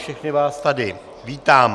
Všechny vás tady vítám.